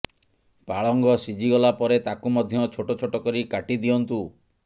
ପାଳଙ୍ଗ ସିଝି ଗଲା ପରେ ତାକୁ ମଧ୍ୟ ଛୋଟ ଛୋଟ କରି କାଟି ଦିଅନ୍ତୁ